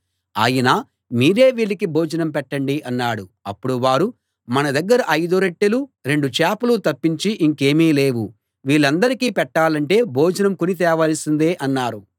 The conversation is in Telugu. ఆయన మీరే వీళ్ళకి భోజనం పెట్టండి అన్నాడు అప్పుడు వారు మన దగ్గర ఐదు రొట్టెలూ రెండు చేపలూ తప్పించి ఇంకేమీ లేవు వీళ్ళందరికీ పెట్టాలంటే భోజనం కొని తేవాల్సిందే అన్నారు